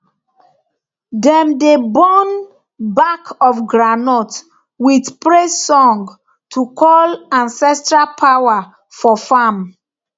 dem dey burn back of groundnut with praise song to call ancestral power for farm